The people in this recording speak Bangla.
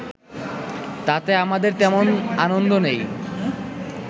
তাতে আমাদের তেমন আনন্দ নেই